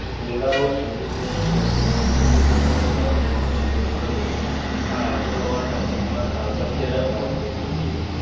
Dora ઓ સમુદ્ર થી અંતર સમુદ્ર નો પ્રવાહ અને જંગલો આ આબોહવા ના ન અગત્યના ભાગ ભજવે છે.